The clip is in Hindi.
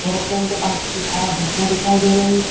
एयरोप्लेन के पंख की छाया धुप में दिखाई दे रही है।